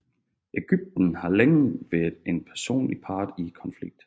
Egypten har længe været en væsentlig part i konflikten